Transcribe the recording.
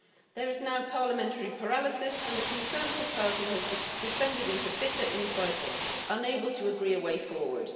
There is now parliamentary paralysis and the Conservative Party has descended into bitter in fighting, unable to agree a way forward.